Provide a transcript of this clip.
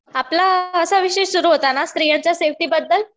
आपला असा विषय सुरु होता ना, स्त्रीयांच्या सेफ्टीबद्दल.